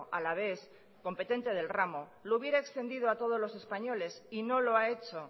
alavés competente del ramo lo hubiera extendido a todos los españoles y no lo ha hecho